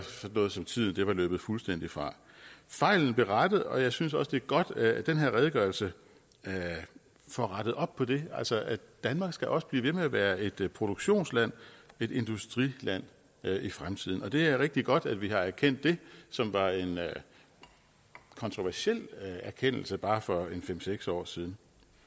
noget som tiden var løbet fuldstændig fra fejlen blev rettet og jeg synes også at det er godt at den her redegørelse får rettet op på det danmark skal også blive ved med at være et produktionsland et industriland i fremtiden det er rigtig godt at vi har erkendt det som var en kontroversiel erkendelse bare for fem seks år siden